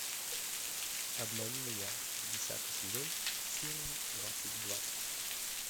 обмани меня десятый сезон серия двадцать два